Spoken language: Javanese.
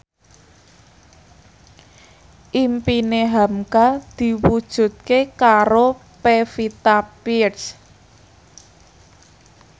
impine hamka diwujudke karo Pevita Pearce